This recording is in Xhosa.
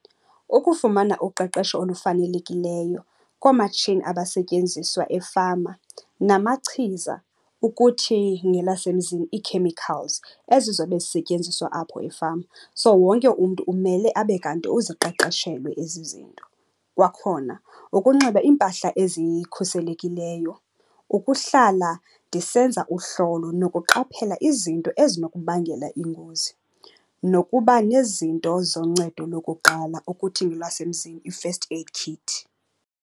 Ukufumana uqeqesho olufanelekileyo koomatshini abasetyenziswa efama namachiza, ukuthi ngelasemzini ii-chemicals ezizobe zisetyenziswa apho efama. So wonke umntu umele abe kanti uziqeqeshelwe ezi zinto. Kwakhona, ukunxiba impahla ezikhuselekileyo, ukuhlala ndisenza uhlolo nokuqaphela izinto ezinokubangela iingozi nokuba nezinto zoncedo lokuqala, ukuthi ngolwasemzini i-first aid kit.